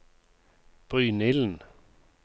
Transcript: Brynilden